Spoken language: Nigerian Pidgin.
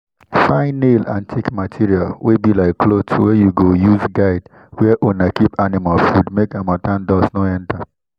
find nail and thick material wey be like cloth wey you go use guide where una keep animal food make harmattan dust no enter.